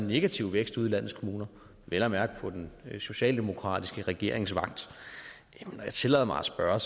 negativ vækst ude i landets kommuner vel at mærke på den socialdemokratiske regerings vagt når jeg tillader mig at spørge